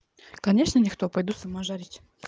конечно никто пойду сама жарить